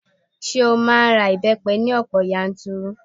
Ṣé ó máa ń ra ìbẹ́pẹ ní ọ̀pọ̀ yanturu?